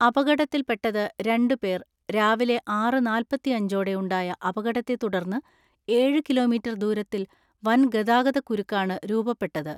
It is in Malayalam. അപകടത്തിൽപെട്ടത് രണ്ടുപേർ രാവിലെ ആറ് നാല്പത്തിഅഞ്ചോടെ ഉണ്ടായ അപകടത്തെത്തുടർന്ന് ഏഴ് കിലോമീറ്റർ ദൂരത്തിൽ വൻ ഗതാഗതക്കുരുക്കാണ് രൂപപ്പെട്ടത്.